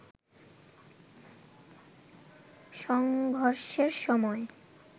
সংঘর্ষের সময়